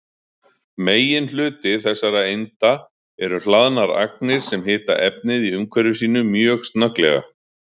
Meginhluti þessara einda eru hlaðnar agnir sem hita efnið í umhverfi sínu mjög snögglega.